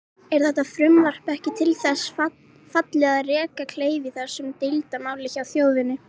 Er þetta frumvarp ekki til þess fallið að reka kleif í þessu deilumáli hjá þjóðinni?